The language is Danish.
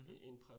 Mh